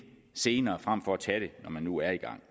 senere frem for at tage det når man nu er i gang